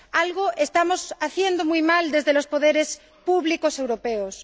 Algo estamos haciendo muy mal desde los poderes públicos europeos.